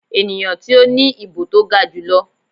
eniyan ti o ni ibo to ga julọ.